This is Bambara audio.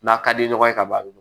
N'a ka di ɲɔgɔn ye ka ban a bɛ